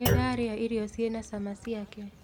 Nĩndarĩa irio ciĩna cama ciake